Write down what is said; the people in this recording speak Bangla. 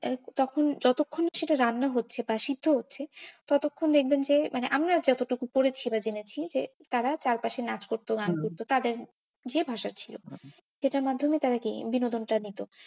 তখন যতক্ষণ না সেটা রান্না হচ্ছে বা সিদ্ধ হচ্ছে ততক্ষন দেখবেন যে মানে আমি আর কতটুকু পড়েছি মাঝামাঝি তারা চারপাশে নাচ করতো, গান করতো তাদের যে ভাষা ছিল এটার মাধ্যমে তারা এই বিনোদন টাকে নিত।